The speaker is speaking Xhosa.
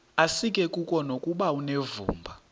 asikuko nokuba unevumba